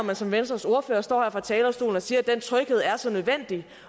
man som venstres ordfører står her på talerstolen og siger at den tryghed er så nødvendig